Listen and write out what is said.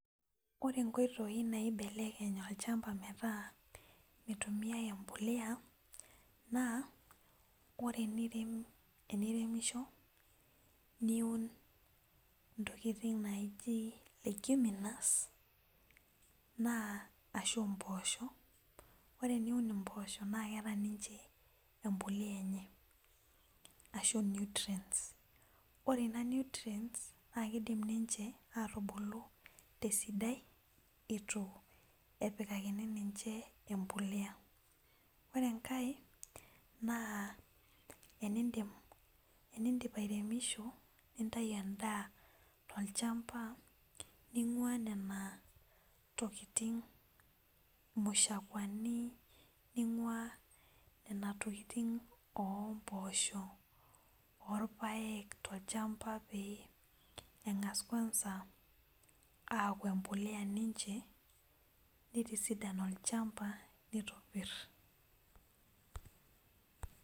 Ore nkoitoi naibelekeny olchamba metaa metumia embolea na ore eniremisho niun ntokitin naji leguminous ore eniun mpoosho na keeta ninyeembolea enye ore ina nutrients na kidim ninche atubulu tesidai itu epikakini ninche embolea ore enkae na tenindip airemisho nintau endaa tolchamba ningua nonatokitin mashakuani ningua nonatokitin ompoosho notpaek tolchamba pengas ninche aaku embolea nitisidan olchamba nitobir.